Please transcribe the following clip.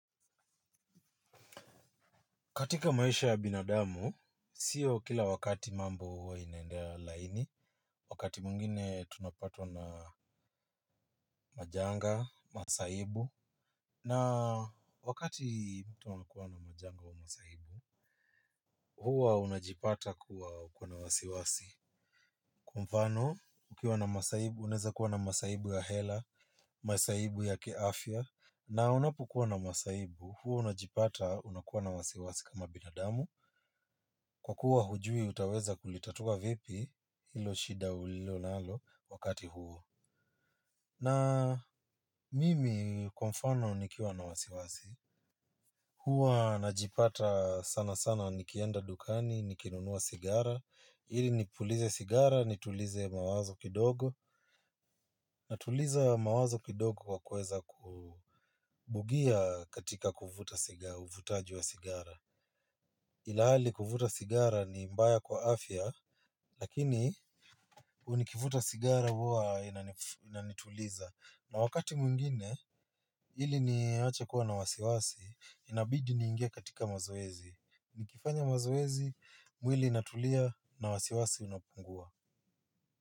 Katika maisha ya binadamu, sio kila wakati mambo huwa inaendea laini, wakati mwingine tunapata na majanga, masaibu, na wakati tunakuwa na majanga au masaibu, huwa unajipata kuwa na wasiwasi. Kwa mfano, ukiwa na masaibu, unaweza kuwa na masaibu ya hela, masaibu ya kiafya. Na unapokuwa na masaibu, huo unajipata unakuwa na wasiwasi kama binadamu. Kwa kuwa hujui, utaweza kulitatua vipi ilo shida ulio nalo wakati huo. Na mimi, kwa mfano, nikiwa na wasiwasi. Hua najipata sana sana nikienda dukani, nikinunua sigara ili nipulize sigara, nitulize mawazo kidogo. Na tuliza mawazo kidogo kwa kweza kubugia katika kufuta sigara, uvutaji wa sigara. Ila hali kuvuta sigara ni mbaya kwa afya. Lakini nikivuta sigara huwa inanituliza. Na wakati mwingine, ili niwache kuwa na wasiwasi. Inabidi niingia katika mazoezi. Nikifanya mazoezi, mwili inatulia na wasiwasi unapungua.